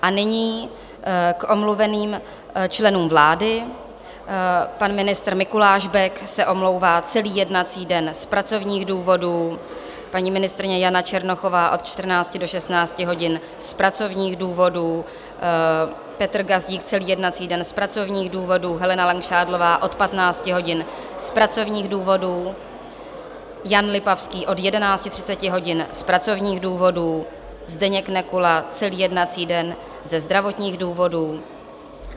A nyní k omluveným členům vlády: pan ministr Mikuláš Bek se omlouvá celý jednací den z pracovních důvodů, paní ministryně Jana Černochová od 14 do 16 hodin z pracovních důvodů, Petr Gazdík celý jednací den z pracovních důvodů, Helena Langšádlová od 15 hodin z pracovních důvodů, Jan Lipavský od 11.30 hodin z pracovních důvodů, Zdeněk Nekula celý jednací den ze zdravotních důvodů.